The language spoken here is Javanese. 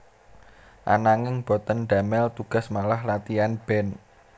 Ananging boten damel tugas malah latian band